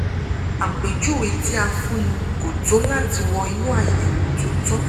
àpèjúwe tí a fúnni kò tó láti wọ inú àyẹ̀wò tó tọ́